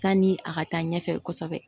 Sanni a ka taa ɲɛfɛ kosɛbɛ